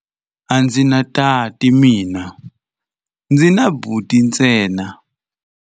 A ndzi na tati mina, ndzi na buti ntsena.